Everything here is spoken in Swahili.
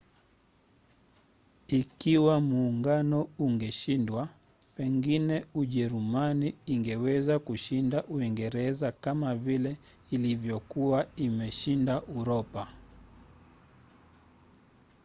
ikiwa muungano ungeshindwa pengine ujerumani ingeweza kushinda uingereza kama vile ilivyokuwa imeshinda uropa